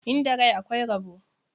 Inda rai akwai rabo.